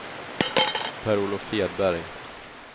Per-Olof Hedberg